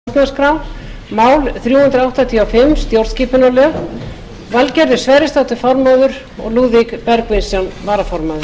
borist hefur eftirfarandi tilkynning um skipan embættismanna sérnefndar um stjórnarskrá valgerður sverrisdóttir formaður lúðvík bergvinsson varaformaður